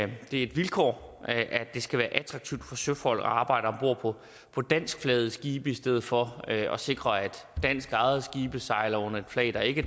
det er et vilkår at det skal være attraktivt for søfolk at arbejde om bord på danskflagede skibe i stedet for at sikre at danskejede skibe sejler under et flag der ikke